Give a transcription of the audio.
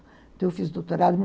Então, eu fiz doutorado